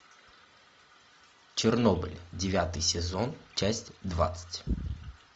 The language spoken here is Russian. чернобыль девятый сезон часть двадцать